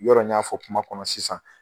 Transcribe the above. Yɔrɔ n y'a fɔ kuma kɔnɔ sisan.